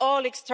for them